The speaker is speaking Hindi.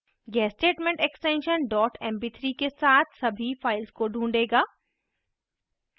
यह statement extension dot mp3 के साथ सभी files को ढूँढेगा